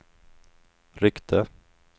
ryckte